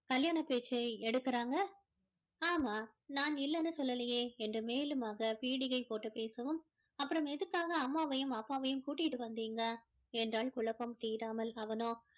கல்யாண பேச்சை எடுக்குறாங்க ஆமா நான் இல்லைன்னு சொல்லலையே என்று மேலுமாக பீடிகை போட்டு பேசவும் அப்பறோம் எதுக்காக அம்மாவையும் அப்பாவையும் கூட்டிட்டு வந்தீங்க என்றாள் குழப்பம் தீறாமல்